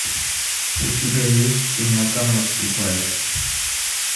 у тебя есть темнота наступает